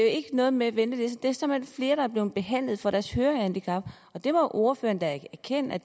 ikke noget med ventelister at flere er blevet behandlet for deres hørehandicap og det må ordføreren da erkende